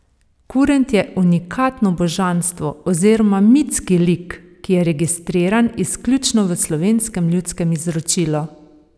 Kurent je unikatno božanstvo oziroma mitski lik, ki je registriran izključno v slovenskem ljudskem izročilu.